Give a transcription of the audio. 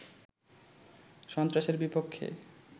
সন্ত্রাসের বিপক্ষে